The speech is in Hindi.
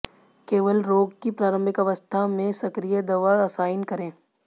केवल रोग की प्रारंभिक अवस्था में सक्रिय दवा असाइन करें